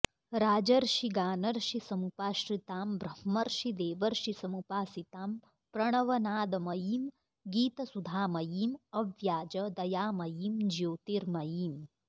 राजर्षि गानर्षि समुपाश्रितां ब्रह्मर्षि देवर्षि समुपासितां प्रणवनादमयीं गीतसुधामयीं अव्याज दयामयीं ज्योतिर्मयीम्